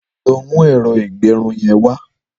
Lọ mù ẹrọ igbẹrùn yèn wà